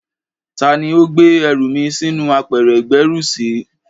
Tá ni ó gbé ẹrù mi sínú apẹ̀rẹ̀ ìgbẹ́rùsí?